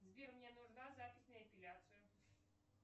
сбер мне нужна запись на эпиляцию